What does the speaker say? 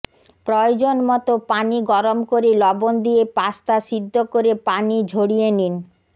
প্রয়োজন মতো পানি গরম করে লবণ দিয়ে পাস্তা সিদ্ধ করে পানি ঝড়িয়ে নিন